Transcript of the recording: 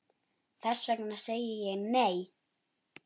Þess vegna segi ég, nei!